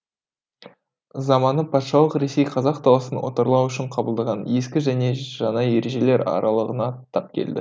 заманы патшалық ресей қазақ даласын отарлау үшін қабылдаған ескі және жаңа ережелер аралығына тап келді